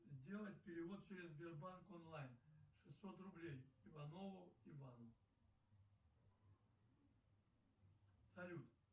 сделай перевод через сбербанк онлайн шестьсот рублей иванову ивану салют